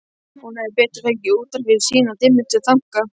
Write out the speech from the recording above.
Hann hefði betur fengið útrás fyrir sína dimmustu þanka.